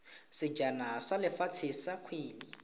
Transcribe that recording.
sejana sa lefatshe sa kgwele